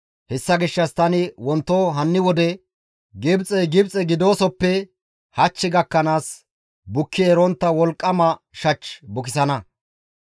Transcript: Hessa gishshas tani wonto hanni wode Gibxey Gibxe gidoosoppe hach gakkanaas bukki erontta wolqqama shach bukisana.